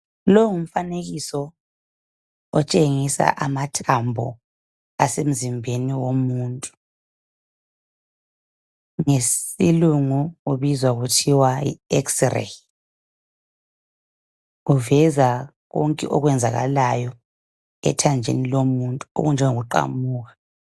Longumfanekiso otshengisa amathambo asemzimbeni womuntu ngesilungu ubizwa kuthiwe yix ray uveza konke okwenzakalayo ethanjeni lomuntu okunjengokuqamuka